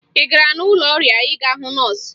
Ị gara n'ụlọ ọrịa ịga hụ nọọsụ?